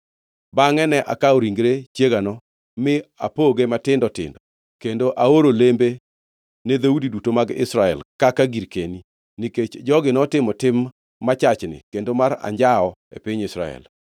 Bangʼe ne akawo ringre chiegano, mi apogee matindo tindo kendo aoro lembe ne dhoudi duto mag Israel kaka girkeni, nikech jogi notimo tim machachni kendo mar anjawo e piny Israel.